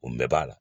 O bɛɛ b'a la